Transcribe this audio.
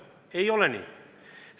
Aga ei ole nii!